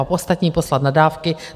A ostatní poslat na dávky.